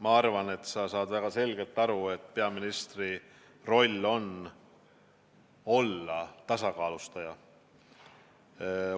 Ma arvan, et sa saad väga selgelt aru, et peaministri roll on olla tasakaalustaja